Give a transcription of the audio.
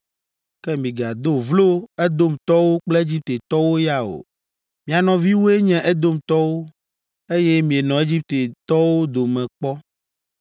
Ke migado vlo Edomtɔwo kple Egiptetɔwo ya o. Mia nɔviwoe nye Edomtɔwo, eye mienɔ Egiptetɔwo dome kpɔ.